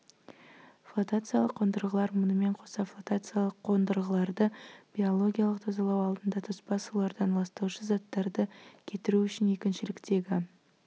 флотациялық қондырғылар мұнымен қоса флотациялық қондырғыларды биологиялық тазалау алдында тоспа сулардан ластаушы заттарды кетіру үшін екіншіліктегі